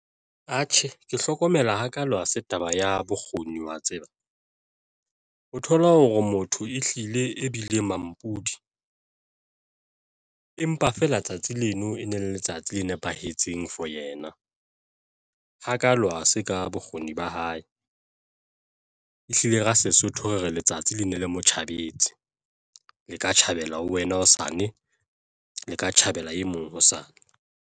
Atjhe, ke hlokomela hakalo hase taba ya bokgoni wa tseba o thola hore motho ehlile e bile mampudi, empa feela tsatsi leno e ne le letsatsi le nepahetseng for yena hakalo hase ka bokgoni ba hae ehlile ka Sesotho re re letsatsi le ne le motjhabetse le ka tjhabela ho wena hosane le ka tjhabela e mong hosane.